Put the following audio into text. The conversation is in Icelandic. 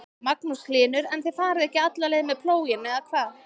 Magnús Hlynur: En þið farið ekki alla leið með plóginn eða hvað?